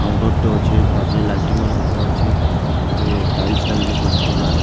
କାଉଣ୍ଟର ଟେ ଅଛେ ତାପରେ ଲାଇଟିଙ୍ଗ ମାନେ ଉପରେ ଅଛେ ତାପରେ ଟାଇଲ୍ସ ଲାଗିଛେ ସବୁ ତଲେ --